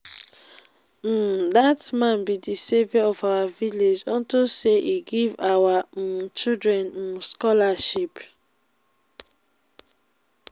um dat man be the savior of our village unto say e give our um children um scholarship